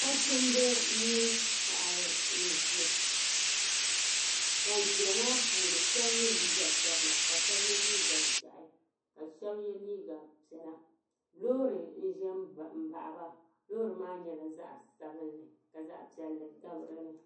Nachimba mini paɣiba n-ʒia. Ban ʒia maa puuni shɛba ye liiga sabila ka shɛba ye liiga ʒiɛhi ka shɛba ye liiga piɛla. Loori n-za m-baɣi ba loori maa nyɛla zaɣ' sabilinli ka zaɣ' piɛlli gabi di ni.